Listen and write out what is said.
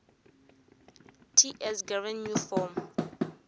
ts gov new form